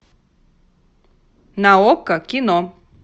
на окко кино